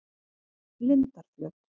Lindarflöt